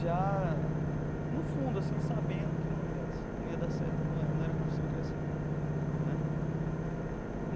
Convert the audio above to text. já, no fundo assim, sabendo que não ia não ia dar certo, não não era a profissão que eu ia seguir né.